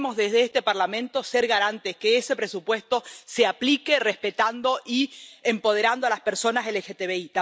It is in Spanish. Debemos desde este Parlamento ser garantes de que ese presupuesto se aplique respetando y empoderando a las personas LGTBI.